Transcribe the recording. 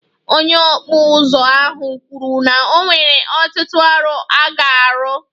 Onye okpu uzu ahụ kwuru na o nwere ọtụtụ ọrụ ọ ga-arụ